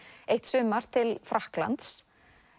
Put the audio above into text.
eitt sumar til Frakklands